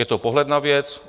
Je to pohled na věc.